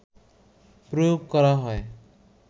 প্রয়োগ করা হয়